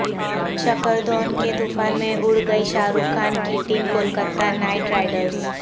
شکھردھون کے طوفان میں اڑگئی شاہ رخ خان کی ٹیم کولکاتہ نائٹ رائیڈرس